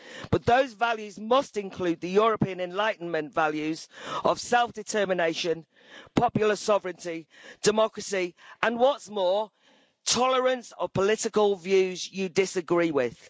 But those values must include the European enlightenment values of self-determination, popular sovereignty, democracy and, what's more, tolerance of political views you disagree with.